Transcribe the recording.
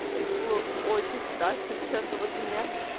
это было очень страшно часто вот меня